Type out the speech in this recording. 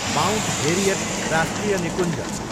Mount Harriet राष्ट्रिय निकुञ्ज